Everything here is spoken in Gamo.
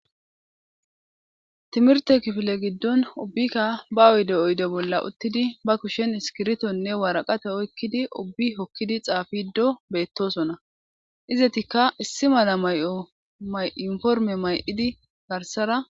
Timirte kifile giddon ubbikka ba oyde oyde bolla uttidi ba kushen iskiritonne waraqate oykkidi ubbi hokkidi xaafido beettosona izetikka issi mala may'o may'informe may'idi garsara.